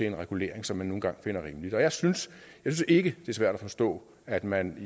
en regulering som man nu engang finder rimelig jeg synes ikke det er svært at forstå at man